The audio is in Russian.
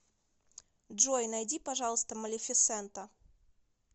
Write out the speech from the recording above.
джой найди пожалуйста малефисента